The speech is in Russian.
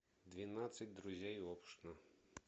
двенадцать друзей оушена